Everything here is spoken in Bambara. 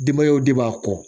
Denbayaw de b'a kɔ